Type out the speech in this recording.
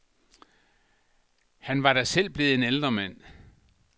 Han var da selv blevet en ældre mand.